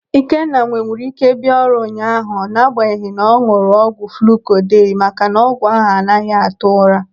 Ikenna nwewuru ike bịa ọrụ ụnyaahụ n'agbanyeghị na ọ n̄ụrụ ọgwụ fluuko dei maka na ọgwụ ahụ anaghị atụ ụra.